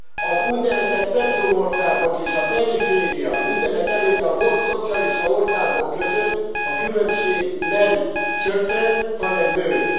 Az úgynevezett centrumországok és a periféria, mindenekelőtt a volt szocialista országok között a különbség nem csökkent, hanem nőtt.